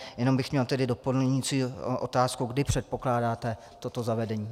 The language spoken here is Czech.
Jenom bych měl tedy doplňující otázku, kdy předpokládáte toto zavedení.